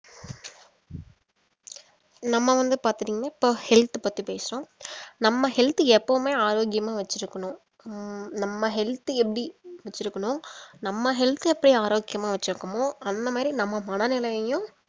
நம்ம வந்து பாத்துட்டீங்கன்னா இப்ப health பத்தி பேசுறோம் நம்ம health எப்பவுமே ஆரோக்கியமா வெச்சிருக்கணும் ஹம் நம்ம health எப்படி வெச்சிருக்கணும் நம்ம health எப்ப்டி ஆரோக்கியமா வெச்சி இருக்கோமோ அந்த மாதிரி நம்ம மன நிலையையும்